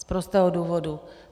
Z prostého důvodu.